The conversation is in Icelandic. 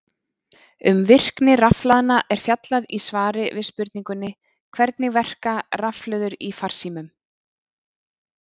Um virkni rafhlaðna er fjallað í svari við spurningunni Hvernig verka rafhlöður í farsímum?